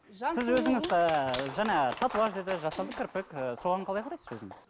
сіз өзіңіз ы жаңа татуаж деді жасанды кірпік і соған қалай қарайсыз өзіңіз